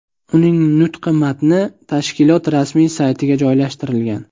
Uning nutqi matni tashkilot rasmiy saytiga joylashtirilgan.